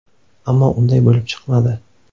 Ammo unday bo‘lib chiqmadi.